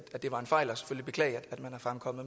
komme